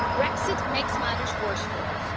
Brexit makes matters worse for us.